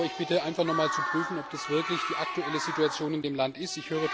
Aber ich bitte Sie, einfach nochmals zu prüfen, ob das wirklich die aktuelle Situation in dem Land ist.